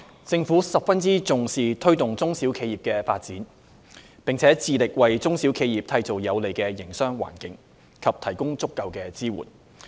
政府十分重視推動中小企業的發展，並致力為中小企業締造有利營商的環境，以及提供足夠支援。